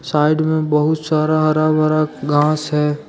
Side में बहुत सारा हरा भरा घास है।